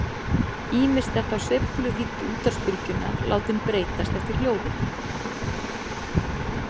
Ýmist er þá sveifluvídd útvarpsbylgjunnar látin breytast eftir hljóðinu.